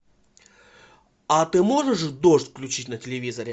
а ты можешь дождь включить на телевизоре